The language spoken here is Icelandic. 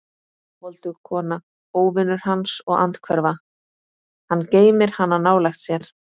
Voldug kona, óvinur hans og andhverfa: hann geymir hana nálægt sér.